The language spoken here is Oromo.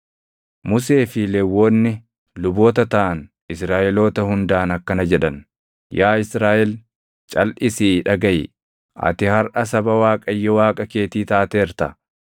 Musee fi Lewwonni luboota taʼan Israaʼeloota hundaan akkana jedhan; “Yaa Israaʼel, calʼisii dhagaʼi! Ati harʼa saba Waaqayyo Waaqa keetii taateerta.